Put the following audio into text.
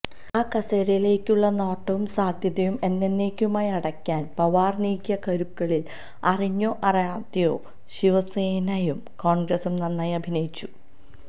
ആ കസേരയിലേക്കുള്ള നോട്ടവും സാധ്യതയും എന്നന്നേക്കുമായി അടയ്ക്കാന് പവാര് നീക്കിയ കരുക്കളില് അറിഞ്ഞോ അറിയാതെയോ ശിവസേനയും കോണ്ഗ്രസും നന്നായി അഭിനയിച്ചു